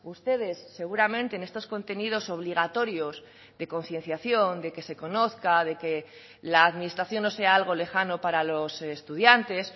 ustedes seguramente en estos contenidos obligatorios de concienciación de que se conozca de que la administración no sea algo lejano para los estudiantes